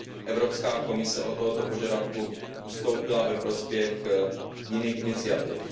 Evropská komise od tohoto požadavku ustoupila ve prospěch jiných iniciativ.